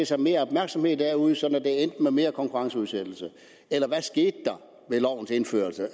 sig mere opmærksomhed derude sådan at det endte med mere konkurrenceudsættelse eller hvad skete der ved lovens indførelse